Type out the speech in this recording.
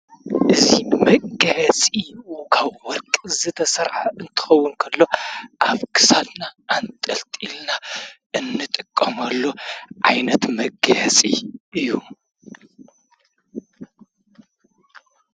እዙይ መጋየፂ እዩ፡፡ ካብ ወርቂ ዝተሠርሐ እንትኸውን እንተሎ ኣብ ክሳድና ኣንጠልጢልና እንጥቀሞሉ ዓይነት መጋየፂ እዩ፡፡